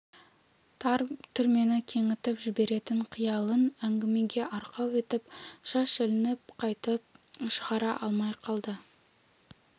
тар түрмені кеңітіп жіберетін қиялын әңгімеге арқау етіп шаш ілініп қайтып шығара алмай қалды